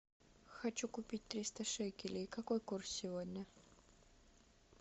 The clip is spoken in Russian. хочу купить триста шекелей какой курс сегодня